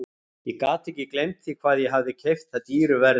Ég gat ekki gleymt því hvað ég hafði keypt það dýru verði.